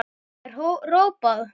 er hrópað.